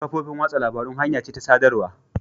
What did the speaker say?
Kafofin watsa labarun hanya ce ta sadarwa.